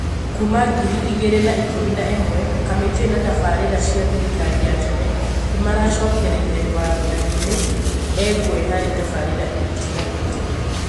kuma ngiri igĩrĩ na ikũmi na imwe, kamĩtĩ na tabarĩra cĩa thirikari ya tene nimaracokereirĩe wathaninĩ, engwe harĩ tabarĩra itiganĩte.